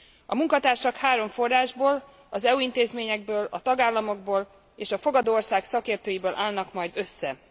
A munkatársak három forrásból, az EU intézményekből, a tagállamokból és a fogadó ország szakértőiből állnak majd össze.